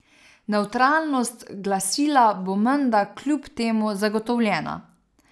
Nevtralnost glasila bo menda kljub temu zagotovljena.